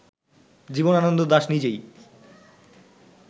জীবনানন্দ দাশ নিজেই